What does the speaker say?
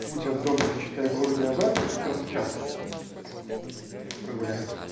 путь от дома до читай-города и обратно как раз час прогуляемся